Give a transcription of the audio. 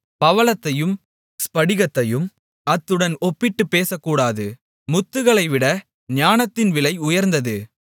பவளத்தையும் ஸ்படிகத்தையும் அத்துடன் ஒப்பிட்டுப் பேசக்கூடாது முத்துகளைவிட ஞானத்தின் விலை உயர்ந்தது